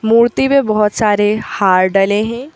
मूर्ति में बहुत सारे हार डले हैं।